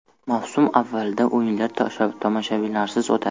Mavsum avvalida o‘yinlar tomoshabinlarsiz o‘tadi.